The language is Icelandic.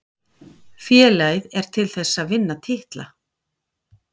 Félagið er til þess að vinna titla.